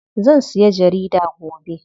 Zan siya jarida gobe.